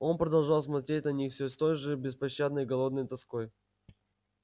он продолжал смотреть на них всё с той же беспощадной голодной тоской